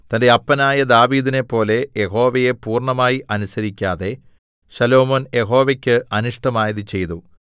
തന്റെ അപ്പനായ ദാവീദിനെപ്പോലെ യഹോവയെ പൂർണ്ണമായി അനുസരിക്കാതെ ശലോമോൻ യഹോവയ്ക്ക് അനിഷ്ടമായത് ചെയ്തു